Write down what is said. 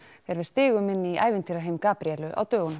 þegar við stigum inn í ævintýraheim Gabríelu á dögunum